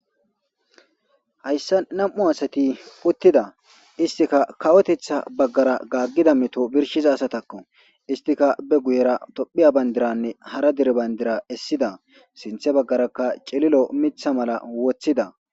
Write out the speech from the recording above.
Hayssa nam'u asati puttida istika kawotetha baggara gaaggida meto birshiza asatakko istika be guyera tophiya bayndiranne hara dere bayndira essida sinthe baggarakka celilo mitha mala woththida.